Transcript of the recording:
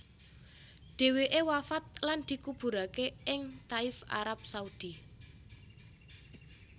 Dheweke wafat lan dikuburake ing Thaif Arab Saudi